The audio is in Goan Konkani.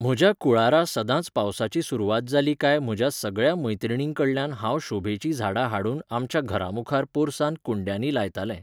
म्हज्या कुळारा सदांच पावसाची सुरवात जाली काय म्हज्या सगळ्या मैत्रिणींकडल्यान हांव शोभेचीं झाडां हाडून आमच्या घरा मुखार पोरसांत कुंड्यांनी लायतालें.